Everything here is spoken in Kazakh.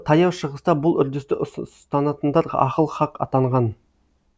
таяу шығыста бұл үрдісті ұстанатындар ахыл хақ атанған